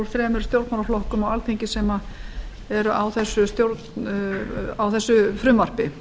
þremur stjórnmálaflokkum á alþingi sem eru á þessu frumvarpi